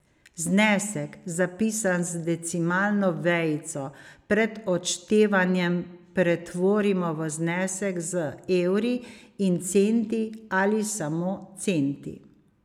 Znesek, zapisan z decimalno vejico, pred odštevanjem pretvorimo v znesek z evri in centi ali samo centi.